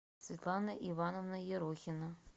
светлана ивановна ерохина